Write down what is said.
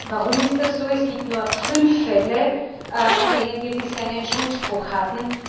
Warum ist das so? Es gibt nur fünf Fälle, in denen wir bisher einen Schuldspruch hatten.